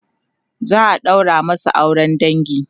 za'a ɗaura masu auran dangi